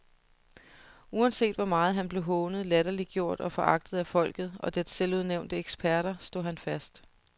Uanset hvor meget han blev hånet, latterliggjort og foragtet af folket og dets selvudnævnte eksperter, stod han fast.